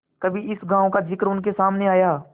कभी इस गॉँव का जिक्र उनके सामने आया